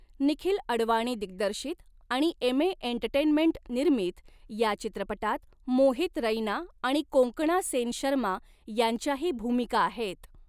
निखिल अडवाणी दिग्दर्शित आणि एमे एंटरटेनमेंट निर्मित, या चित्रपटात मोहित रैना आणि कोंकणा सेन शर्मा यांच्याही भूमिका आहेत.